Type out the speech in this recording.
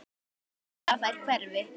Hrædd við að þær hverfi.